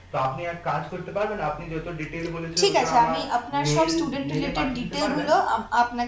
তা আপনি এক কাজ করতে পারবেন আপনি যত detail বলেছেন আমার mail~ mail এ পাঠিয়ে দিতে পারবেন